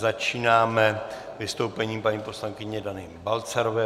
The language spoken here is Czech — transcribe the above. Začínáme vystoupením paní poslankyně Dany Balcarové.